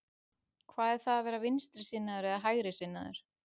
Hvað er það að vera vinstrisinnaður eða hægrisinnaður?